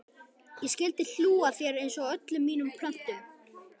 Ég skyldi hlú að þér einsog öllum mínum plöntum.